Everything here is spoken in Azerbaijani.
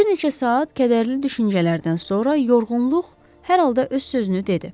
Bir neçə saat kədərli düşüncələrdən sonra yorğunluq hər halda öz sözünü dedi.